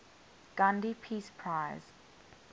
gandhi peace prize